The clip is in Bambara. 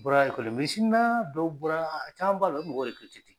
Bɔra dɔw bɔra a caman b'a la u bɛ mɔgɔ